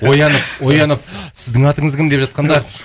оянып оянып сіздің атыңыз кім деп жатқандар